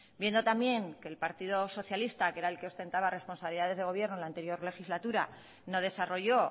viendo también que el partido socialista que es el que ostentaba responsabilidades de gobierno en la anterior legislatura no desarrolló